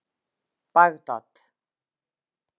Bagdad